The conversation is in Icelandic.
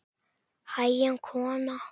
Hægan kona!